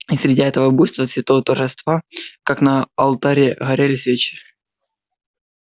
и среди этого буйства цветов торжества как на алтаре горели свечи